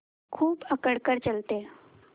खूब अकड़ कर चलते